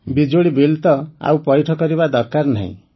ବିଜୁଳି ବିଲ୍ ତ ଆଉ ପୈଠ କରିବା ଦରକାର ନାହିଁ